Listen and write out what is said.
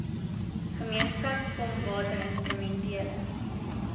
gemeenskap kom watinstrumentele